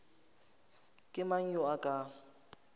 ke mang yo a ka